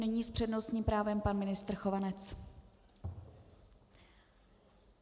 Nyní s přednostním právem pan ministr Chovanec.